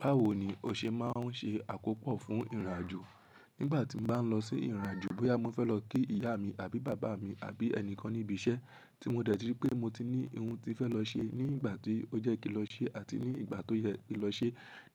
Báwo ni o ṣe máa ń ṣe àkópò fún ìrìnàjò? Nígbà tí m bá ń lọ sí ìrìnàjò, bóyá mo fẹ́ lọ kí ìyá mi àbí bàbá mi àbí ẹnìkan níbi iṣẹ́ tí mo dẹ̀ tí rí pé mo ti ní ohun tí fẹ́ lọ ṣe ní ìgbà tí ó jẹ kí n lọ ṣe àti ní ìgbà tó yẹ kí n lọ ṣe.